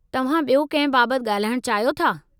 तव्हां ॿियो कंहिं बाबतु ॻाल्हाइणु चाहियो था?